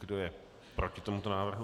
Kdo je proti tomuto návrhu?